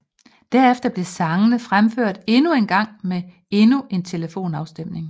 Derefter blev sangene fremført endnu en gang med endnu en telefonafstemning